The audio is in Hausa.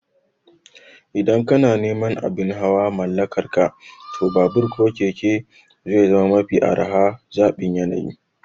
Idan kana neman abin hawa mallakarka, to babur ko keke zai zama mafi araha da zaɓin yanayi